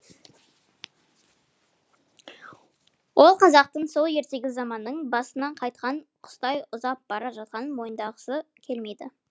ол қазақтың сол ертегі заманының басынан қайтқан құстай ұзап бара жатқанын мойындағысы келмейді